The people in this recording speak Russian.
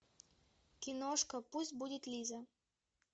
киношка пусть будет лиза